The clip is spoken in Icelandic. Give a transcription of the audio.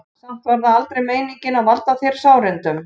Samt var það aldrei meiningin að valda þér sárindum.